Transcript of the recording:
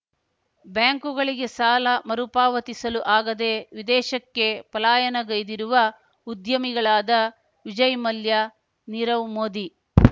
ಬ್ಯಾಂಕುಗಳಿಗೆ ಸಾಲ ಮರುಪಾವತಿಸಲು ಆಗದೇ ವಿದೇಶಕ್ಕೆ ಪಲಾಯನಗೈದಿರುವ ಉದ್ಯಮಿಗಳಾದ ವಿಜಯ್‌ ಮಲ್ಯ ನೀರವ್‌ ಮೋದಿ